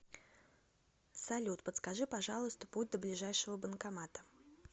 салют подскажи пожалуйста путь до ближайшего банкомата